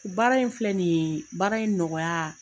Baara in filɛ nin ye baara in nɔgɔya